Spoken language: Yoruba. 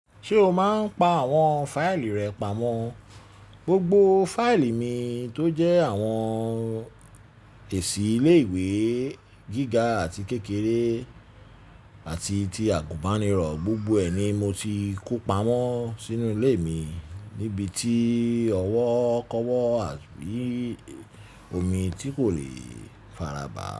Ṣé o máa n pa àwọn fáìlì rẹ pamọ́? Gbogbo fáìlì mi tó jẹ́ àwọn èsì ilé ìwé gíga àti kékeré àti ti agunbaniro, gbogbo rẹ̀ ni mo ti kó pamọ́ s'inú ilé mi níbití ọwọ́ k'owọ àbí omi tí kò lè faraba.